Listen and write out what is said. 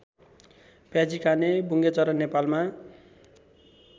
प्याजीकाने बुङ्गेचरा नेपालमा